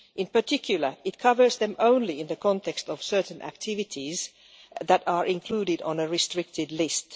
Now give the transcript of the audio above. In particular, it covers them only in the context of certain activities that are included on a restricted list.